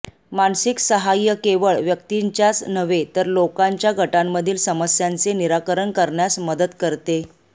मानसिक सहाय्य केवळ व्यक्तींच्याच नव्हे तर लोकांच्या गटांमधील समस्यांचे निराकरण करण्यात मदत करते